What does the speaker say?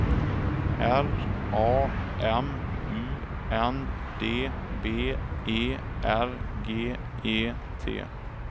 R A M U N D B E R G E T